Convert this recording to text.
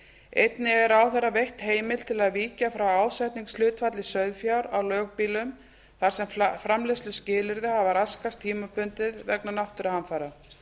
einnig er ráðherra veitt heimild til að víkja frá ásetningshlutfalli sauðfjár á lögbýlum þar sem framleiðsluskilyrði hafa raskast tímabundið vegna náttúruhamfara